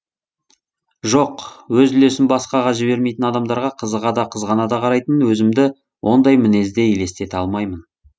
жоқ өз үлесін басқаға жібермейтін адамдарға қызыға да қызғана да қарайтын өзімді ондай мінезде елестете алмаймын